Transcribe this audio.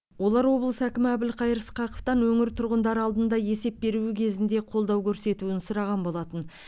олар облыс әкімі әбілқайыр сқақовтан өңір тұрғындары алдында есеп беруі кезінде қолдау көрсетуін сұраған болатын